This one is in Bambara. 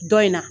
Dɔ in na